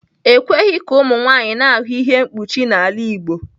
E kweghị ka ụmụ nwanyị na-ahụ ihe mkpuchi n'ala Igbo.